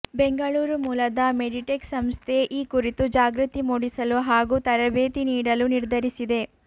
ಬೆಂಗಳೂರು ಮೂಲದ ಮೆಡಿಟೆಕ್ ಸಂಸ್ಥೆ ಈ ಕುರಿತು ಜಾಗೃತಿ ಮೂಡಿಸಲು ಹಾಗೂ ತರಬೇತಿ ನೀಡಲು ನಿರ್ಧರಿಸಿದೆ